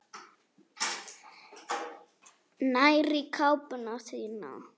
Nær í kápuna sína.